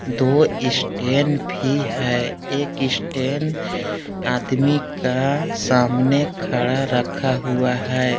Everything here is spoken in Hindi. दो स्टेन भी है। एक स्टेन आदमी का सामने खड़ा रखा हुआ है।